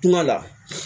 Kuma la